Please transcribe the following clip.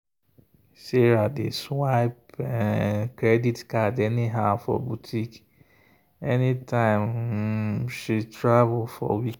sarah dey swipe um credit card anyhow for boutique anytime um she travel for weekend.